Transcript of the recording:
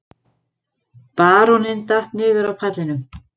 Baróninn datt niður af pallinum.